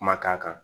Kuma k'a kan